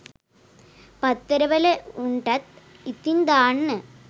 පත්තර වල උන්ටත් ඉතින් දාන්න